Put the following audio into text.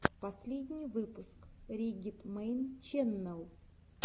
последний выпуск риггет мэйн ченнэл